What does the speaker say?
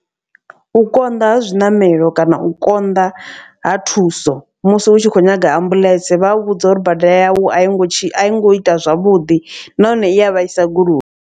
U konḓa ha zwiṋamelo kana u konḓa ha thuso musi hu tshi kho nyaga ambuḽentse. Vha u vhudza uri bada yau a i ngo tshi a i ngo ita zwavhuḓi nahone i a vhaisa goloi.